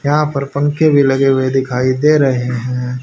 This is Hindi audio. यहां पर पंखे भी लगे हुए दिखाई दे रहे हैं।